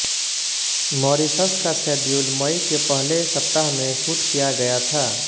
Mauritius का schedule मई के पहले सप्ताह में शूट किया गया था